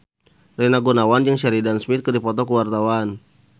Rina Gunawan jeung Sheridan Smith keur dipoto ku wartawan